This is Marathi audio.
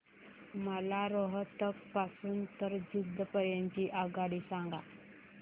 मला रोहतक पासून तर जिंद पर्यंत ची आगगाडी सांगा